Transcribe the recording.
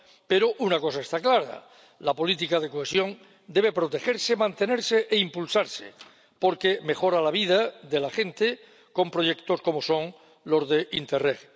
Pero una cosa está clara la política de cohesión debe protegerse, mantenerse e impulsarse, porque mejora la vida de la gente con proyectos como los de Interreg.